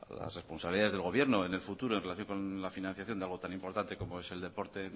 las responsabilidades del gobierno en el futuro en relación con la financiación de algo tan importante como es el deporte